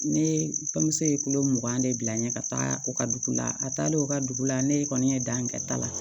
Ne tamuso ye kulo mugan de bila n ye ka taa u ka dugu la a taalen u ka dugu la ne kɔni ye dan in kɛ ta la